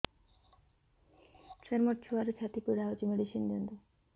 ସାର ମୋର ଛୁଆର ଛାତି ପୀଡା ହଉଚି ମେଡିସିନ ଦିଅନ୍ତୁ